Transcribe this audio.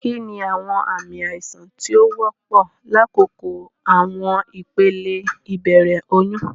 Kini awọn aami aisan ti o wọpọ lakoko awọn ipele ibẹrẹ oyun?